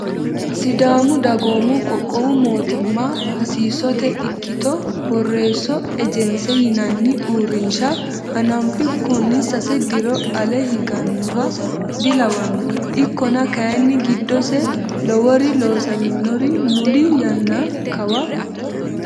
Sidaamu dagoomu qoqqowu mootimma hasiisote ikkitto borreesso ejense yinanni uurrinsha hanafunkunni sase diro ale higanoha dilawano ikkonna kayinni giddose lowori loossamino mulli yanna kawa.